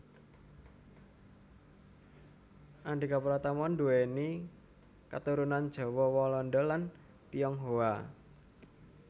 Andhika Pratama nduwèni katurunan Jawa Walanda lan Tionghoa